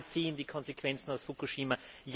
Ja, wir ziehen die Konsequenzen aus Fukushima.